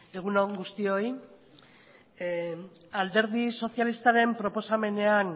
eskerrik asko egun on guztioi alderdi sozialistaren proposamenean